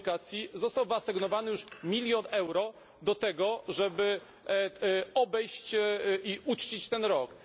Komunikacji został wyasygnowany już milion euro do tego, żeby obejść i uczcić ten rok.